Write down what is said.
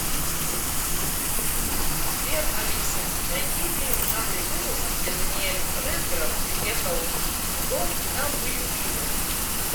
сбер алиса найди фильм в жанре ужасов где даниэль редграф приехал в дом и там были призраки